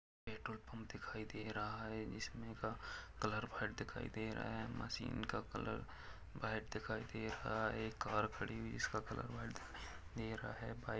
petrol pump दिखाई दे रहा है इसमे का कलर व्हाइट दिखाई दे रहा है मशीन का कलर व्हाइट दिखाई दे रहा है कार खड़ी हुई है इसका कलर व्हाइट दिखाई दे रहा है बाइक --